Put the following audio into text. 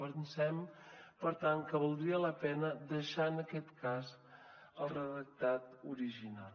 pensem per tant que valdria la pena deixar en aquest cas el redactat original